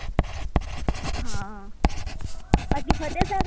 હા બાકી ફતેસાગર